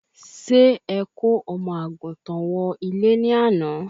Ṣé ẹ kò omo àgùntàn wọ ilé ni àná?